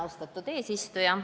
Austatud eesistuja!